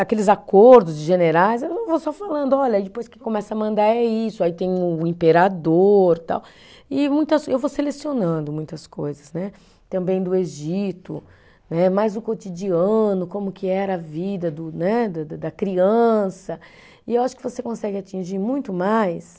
Aqueles acordos de generais, eu vou só falando, olha, e depois que começa a mandar é isso, aí tem o imperador tal, e muitas, eu vou selecionando muitas coisas né, também do Egito né, mais o cotidiano, como que era a vida do né, da da da criança, e eu acho que você consegue atingir muito mais